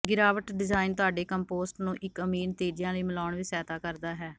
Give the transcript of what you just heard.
ਗਿਰਾਵਟ ਡਿਜ਼ਾਇਨ ਤੁਹਾਡੇ ਕੰਪੋਸਟ ਨੂੰ ਇੱਕ ਅਮੀਰ ਨਤੀਜਿਆਂ ਲਈ ਮਿਲਾਉਣ ਵਿੱਚ ਸਹਾਇਤਾ ਕਰਦਾ ਹੈ